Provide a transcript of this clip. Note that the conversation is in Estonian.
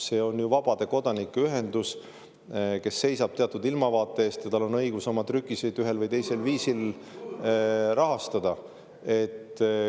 See on ju vabade kodanike ühendus, kes seisab teatud ilmavaate eest, ja tal on õigus oma trükiseid ühel või teisel viisil rahastada.